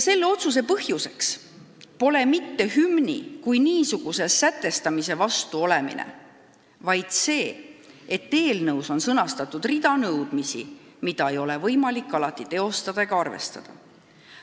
Selle otsuse põhjuseks pole mitte hümni kui niisuguse sätestamise vastu olemine, vaid see, et eelnõus on sõnastatud rida nõudmisi, mida ei ole võimalik alati teostada ja millega ei ole võimalik arvestada.